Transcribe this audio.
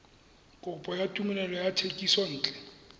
kopo ya tumelelo ya thekisontle